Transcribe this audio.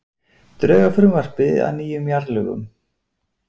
Drög að frumvarpi að nýjum jarðalögum